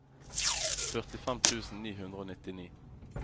førtifem tusen ni hundre og nittini